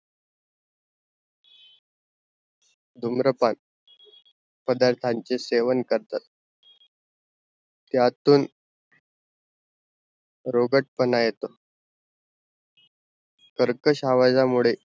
धुम्रपान पदार्थांचा सेवन करतात, त्यातून रोगटपना येतो, कर्कश आवाजा मुड़े